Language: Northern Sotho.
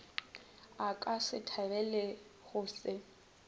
a ka se thabelego go